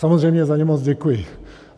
Samozřejmě za ně moc děkuji.